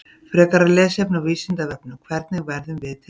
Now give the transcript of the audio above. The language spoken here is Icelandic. Frekara lesefni á Vísindavefnum: Hvernig verðum við til?